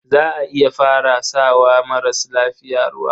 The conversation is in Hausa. Za a iya fara sa wa maras lafiya ruwa.